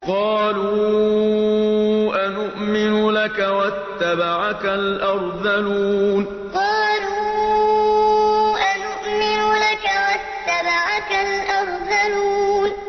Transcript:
۞ قَالُوا أَنُؤْمِنُ لَكَ وَاتَّبَعَكَ الْأَرْذَلُونَ ۞ قَالُوا أَنُؤْمِنُ لَكَ وَاتَّبَعَكَ الْأَرْذَلُونَ